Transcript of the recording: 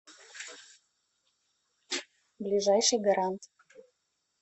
ближайший гарант